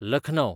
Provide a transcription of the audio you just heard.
Lucknow